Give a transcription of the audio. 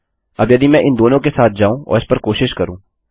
अब यदि मैं इन दोनों के साथ जाऊँ और इस पर कोशिश करूँ